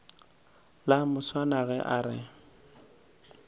la moswana ge a re